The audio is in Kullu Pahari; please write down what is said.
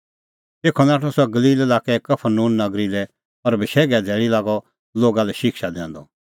तेखअ नाठअ सह गलील लाक्कै कफरनहूम नगरी लै और बशैघे धैल़ी लागअ लोगा लै शिक्षा दैंदअ